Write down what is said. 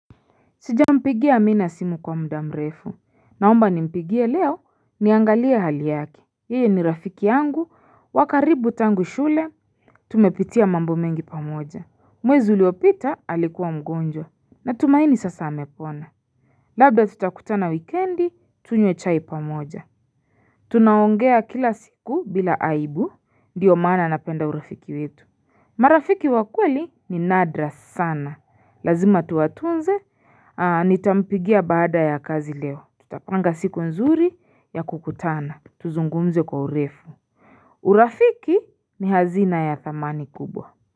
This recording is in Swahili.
Sijampigia mi na simu kwa muda mrefu naomba nimpigie leo niangalie hali yake yeye ni rafiki yangu wa karibu tangu shule Tumepitia mambo mengi pamoja mwezi uliopita alikuwa mgonjwa Natumaini sasa amepona Labda tutakutana wikendi tunywe chai pamoja Tunaongea kila siku bila aibu ndiyo maana napenda urafiki wetu marafiki wa kweli ni nadra sana lazima tuwatunze. Nitampigia baada ya kazi leo Tutapanga siku nzuri ya kukutana Tuzungumze kwa urefu urafiki ni hazina ya thamani kubwa.